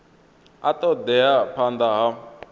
a ṱo ḓea phanḓa ha